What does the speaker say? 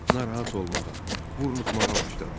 Narahat olmağa, burunuxmağa başladı.